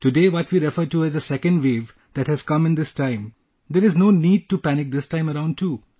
Today what we refer to as the Second Wave that has come in this time...there is no need to panic this time around too